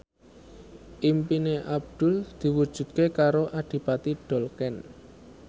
impine Abdul diwujudke karo Adipati Dolken